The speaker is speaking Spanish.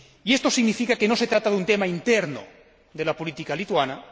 Esto significa que no se trata de un tema interno de la política lituana